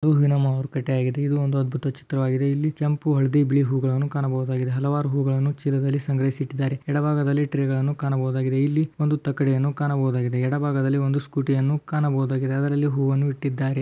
ಇದು ನಮ್ಮವರು ಕಟ್ಟು ಆಗಿದೆ ಇದು ಒಂದು ಅದ್ಭುತ ಚಿತ್ರವಾಗಿದೆ. ಇಲ್ಲಿ ಕೆಂಪು ಹಳದಿ ಬಿಳಿ ಹೂಗಳನ್ನು ಕಾಣಬಹುದಾಗಿದೆ. ಹಲವಾರು ಹೂವುಗಳನ್ನು ಚೀಲದಲ್ಲಿ ಸಂಗ್ರಹಿಸಿ ಇಟ್ಟಿದ್ದಾರೆ. ಎಡ ಭಾಗದಲ್ಲಿ ಟ್ರೈ ಗಳನ್ನು ನೋಡಬಹುದಾಗಿದೆ. ಇಲ್ಲಿ ಒಂದು ತಕ್ಕಡಿಯನ್ನು ಕಾಣಬಹುದಾಗಿದೆ. ಇಲ್ಲಿ ಎಡ ಭಾಗದಲ್ಲಿ ಒಂದು ಸ್ಕೂಟಿ ಯನ್ನು ಕಾಣಬಹುದಾಗಿದೆ ಅದರಲ್ಲಿ ಹೂವನ್ನು ಇಟ್ಟಿದ್ದಾರೆ.